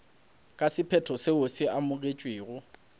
ka sephetho seo se amogetšwego